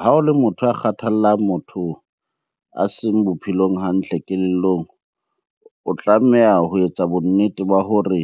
Ha o le motho a kgathallang motho a seng bophelong hantle kelellong, o tlameha ho etsa bonnete ba hore